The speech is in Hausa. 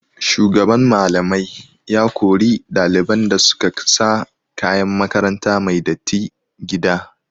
Shugaban Mallamai ya kori ɗaliban da su ka sa kayan makaranta mai datti gida.